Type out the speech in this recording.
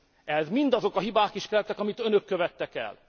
Ehhez mindazok a hibák is kellettek, amiket Önök követtek el.